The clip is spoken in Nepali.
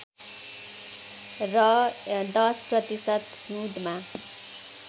र १० प्रतिशत हिउँदमा